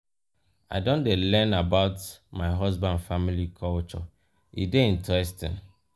i don dey learn about my husband family culture e dey interesting